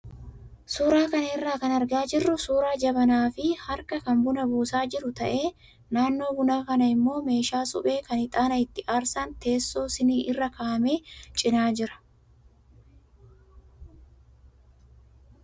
Suuraa kana irraa kan argaa jirru suuraa jabanaa fi harkaa kan buna buusaa jiru ta'ee, naannoo buna kanaa immoo meeshaa suphee kan ixaana itti aarsan teessoo siiniin irra kaa'ame cinaa jira.